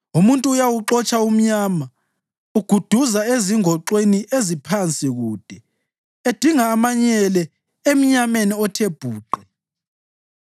Umuntu uyawuxotsha umnyama; uguduza ezingoxweni eziphansi kude edinga amanyele emnyameni othe bhuqe.